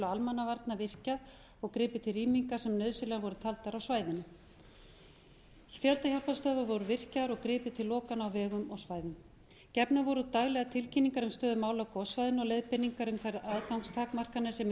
almannavarna virkjað og gripið til rýminga sem nauðsynlegar voru taldar á svæðinu skyndihjálparstöðvar voru virkjaðar og gripið til lokana á vegum á svæðinu gefnar voru daglega tilkynningar um stöðu mála á gossvæðinu og leiðbeiningar um þær aðgangstakmarkanir sem í